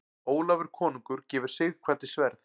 Ólafur konungur gefur Sighvati sverð.